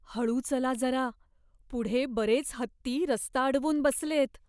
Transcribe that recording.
हळू चला जरा. पुढे बरेच हत्ती रस्ता अडवून बसलेत.